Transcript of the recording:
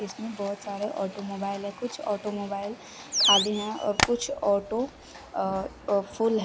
इसमें बहुत सारे ऑटोमोबाइल है कुछ ऑटोमोबाइल खाली हैं और कुछ ऑटो अ फूल हैं।